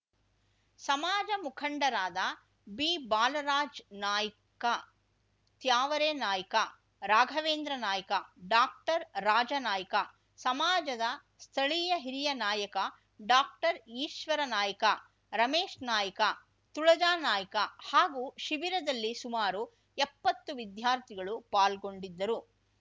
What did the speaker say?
ಸಮಾಜ ಮುಖಂಡರಾದ ಬಿಬಾಲರಾಜ್‌ ನಾಯ್ಕ ತ್ಯಾವರೆ ನಾಯ್ಕ ರಾಘವೇಂದ್ರ ನಾಯ್ಕ ಡಾಕ್ಟರ್ ರಾಜ ನಾಯ್ಕ ಸಮಾಜದ ಸ್ಥಳೀಯ ಹಿರಿಯ ನಾಯಕ ಡಾಕ್ಟರ್ಈಶ್ವರ ನಾಯ್ಕ ರಮೇಶ್‌ ನಾಯ್ಕ ತುಳಜಾ ನಾಯ್ಕ ಹಾಗೂ ಶಿಬಿರದಲ್ಲಿ ಸುಮಾರು ಎಪ್ಪತ್ತು ವಿದ್ಯಾರ್ಥಿಗಳು ಪಾಲ್ಗೊಂಡಿದ್ದರು